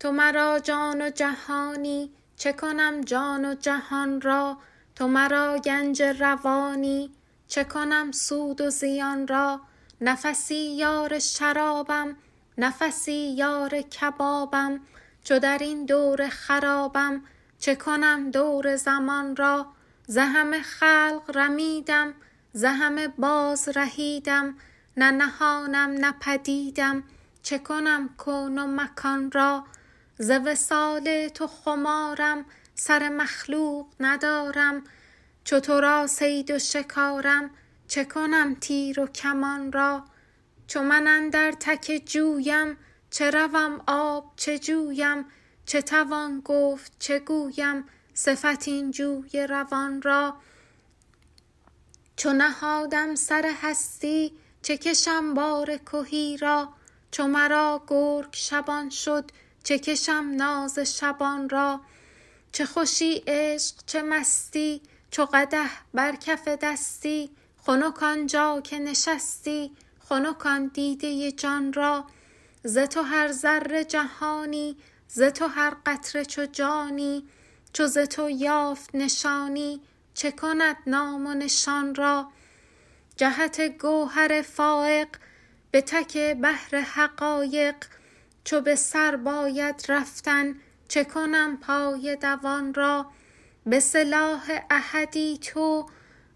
تو مرا جان و جهانی چه کنم جان و جهان را تو مرا گنج روانی چه کنم سود و زیان را نفسی یار شرابم نفسی یار کبابم چو در این دور خرابم چه کنم دور زمان را ز همه خلق رمیدم ز همه بازرهیدم نه نهانم نه پدیدم چه کنم کون و مکان را ز وصال تو خمارم سر مخلوق ندارم چو تو را صید و شکارم چه کنم تیر و کمان را چو من اندر تک جویم چه روم آب چه جویم چه توان گفت چه گویم صفت این جوی روان را چو نهادم سر هستی چه کشم بار کهی را چو مرا گرگ شبان شد چه کشم ناز شبان را چه خوشی عشق چه مستی چو قدح بر کف دستی خنک آن جا که نشستی خنک آن دیده جان را ز تو هر ذره جهانی ز تو هر قطره چو جانی چو ز تو یافت نشانی چه کند نام و نشان را جهت گوهر فایق به تک بحر حقایق چو به سر باید رفتن چه کنم پای دوان را به سلاح احدی تو